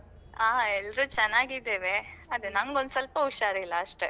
ಹಾ, ಎಲ್ರು ಚೆನ್ನಾಗಿದ್ದೇವೆ. ಅದೇ ನಂಗೊಂದು ಸ್ವಲ್ಪ ಹುಷಾರಿಲ್ಲ ಅಷ್ಟೇ.